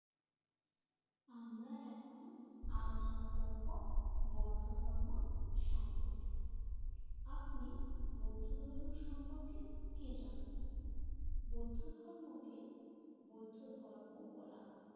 আমরা এখন আলোচনা করবো বৌদ্ধ ধৰ্ম সম্পর্কে। আপনি বৌদ্ধ ধৰ্ম সম্পর্কে কি জানেন বৌদ্ধ ধৰ্ম কে বোধ ধর্মও বলা হয়।